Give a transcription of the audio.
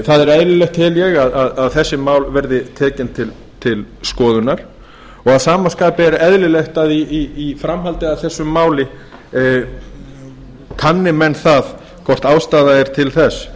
það er eðlilegt tel ég að þessi mál verði tekin til skoðunar og að sama skapi er eðlilegt að í framhaldi af þessu máli kanni menn það hvort ástæða er til þess